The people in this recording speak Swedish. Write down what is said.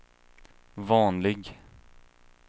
vanlig